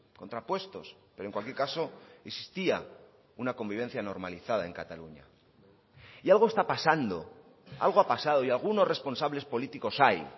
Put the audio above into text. contrapuestos pero en cualquier caso existía una convivencia normalizada en cataluña y algo está pasando algo ha pasado y algunos responsables políticos hay